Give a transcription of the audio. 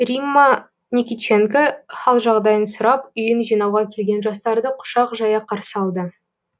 римма никитченко хал жағдайын сұрап үйін жинауға келген жастарды құшақ жая қарсы алды